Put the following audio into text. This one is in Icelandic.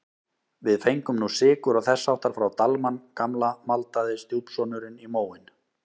Við fengum nú sykur og þess háttar frá Dalmann gamla maldaði stjúpsonurinn í móinn.